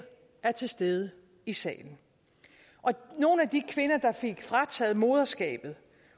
er til stede i salen og nogle af de kvinder der fik frataget moderskabet